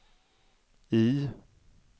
I